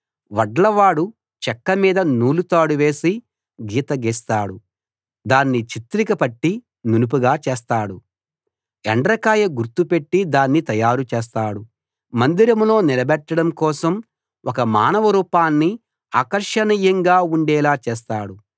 వడ్లవాడు చెక్క మీద నూలు తాడు వేసి గీత గీస్తాడు దాన్ని చిత్రిక పట్టి నునుపుగా చేస్తాడు ఎండ్రకాయ గుర్తు పెట్టి దాన్ని తయారు చేస్తాడు మందిరంలో నిలబెట్టడం కోసం ఒక మానవ రూపాన్ని ఆకర్షణీయంగా ఉండేలా చేస్తాడు